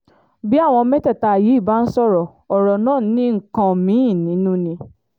bí àwọn mẹ́tẹ̀ẹ̀ta yìí bá ń sọ̀rọ̀ ọ̀rọ̀ náà ní nǹkan mí-ín nínú ni